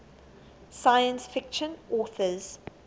science fiction authors